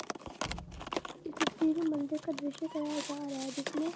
इस तस्वीर में मंदिर का दृश्य दिखाया जा रहा है जिस में--